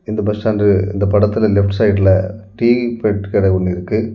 இந்த bus stand இந்த படத்துல லெப்ட் சைடுல டீ பெட் கடை ஒன்னு இருக்கு.